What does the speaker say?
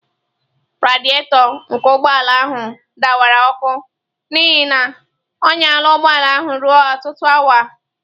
Radịatọ nke ụgbọ ala ahụ dawara ọkụ n'ihi na ọ nyala ụgbọ ala ruo ọtụtụ awa.